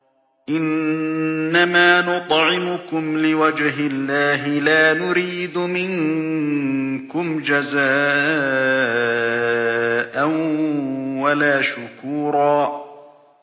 إِنَّمَا نُطْعِمُكُمْ لِوَجْهِ اللَّهِ لَا نُرِيدُ مِنكُمْ جَزَاءً وَلَا شُكُورًا